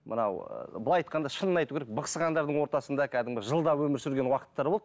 мынау былай айтқанда шынын айту керек бықсығандардың ортасында кәдімгі жылдап өмір сүрген уақыттар болды